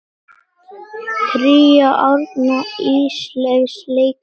Tríó Árna Ísleifs leikur undir.